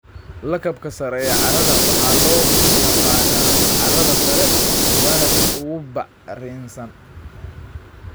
Lakabka sare ee carrada waxaa loo yaqaannaa carrada sare waana tan ugu bacrinsan.